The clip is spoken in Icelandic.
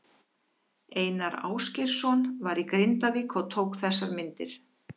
Einar Ásgeirsson var í Grindavík og tók þessar myndir.